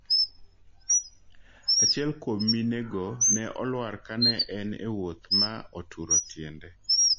Achiel kuom mine go ne olwar ka ne en ewuoth ma oturo tiende